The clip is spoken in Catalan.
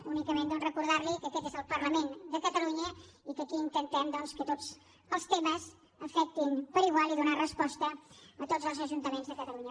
únicament doncs recordar li que aquest és el parlament de catalunya i que aquí intentem doncs que tots els temes afectin igual i donar resposta a tots els ajuntaments de catalunya